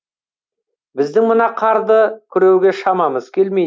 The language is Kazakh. біздің мына қарды күреуге шамамыз келмейді